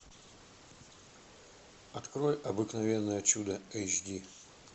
открой обыкновенное чудо эйч ди